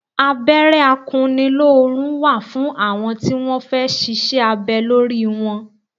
Abẹ́rẹ́ akunnilórun wà fún àwọn tí wọn fẹ́ ṣíṣe abẹ lórí wọn.